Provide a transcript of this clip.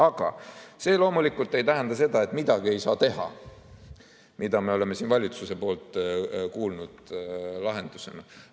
Aga see loomulikult ei tähenda seda, et midagi ei saa teha, mida me oleme siin kuulnud lahendusena valitsuse poolt.